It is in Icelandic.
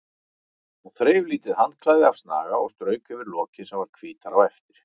Hún þreif lítið handklæði af snaga og strauk yfir lokið sem varð hvítara á eftir.